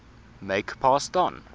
make pass don